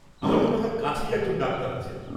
আমার মনে হয় কাছেই একজন ডাক্তার আছেন।